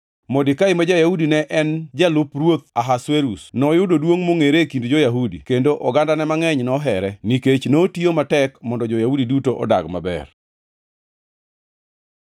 Modekai ma ja-Yahudi ne en jalup ruoth Ahasuerus, noyudo duongʼ mongʼere e kind jo-Yahudi; kendo ogandane mangʼeny nohere, nikech notiyo matek mondo jo-Yahudi duto odag maber.